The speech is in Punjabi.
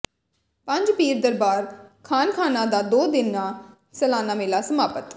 ਪੰਜ ਪੀਰ ਦਰਬਾਰ ਖਾਨਖਾਨਾ ਦਾ ਦੋ ਦਿਨਾ ਸਾਲਾਨਾ ਮੇਲਾ ਸਮਾਪਤ